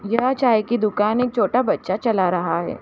यह चाय की दुकान एक छोटा बच्‍चा चला रहा हैं।